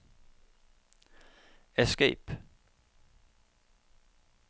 escape